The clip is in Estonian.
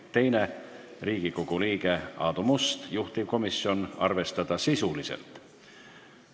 Teine on Riigikogu liikmelt Aadu Mustalt, juhtivkomisjoni otsus: arvestada sisuliselt.